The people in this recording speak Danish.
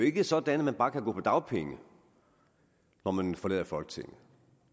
ikke er sådan at man bare kan gå på dagpenge når man forlader folketinget